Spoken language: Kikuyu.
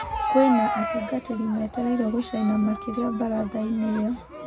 Kwina atungatĩri metereirwo gũcaina makĩria mbarathaĩnĩ ĩyo